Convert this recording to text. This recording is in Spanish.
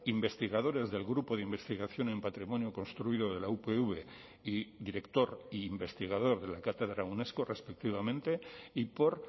investigadores del grupo de investigación en patrimonio construido de la upv y director e investigador de la cátedra unesco respectivamente y por